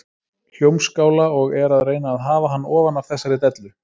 Hljómskála og er að reyna að hafa hann ofan af þessari dellu.